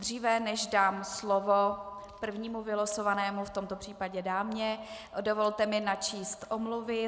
Dříve než dám slovo prvnímu vylosovanému, v tomto případě dámě, dovolte mi načíst omluvy.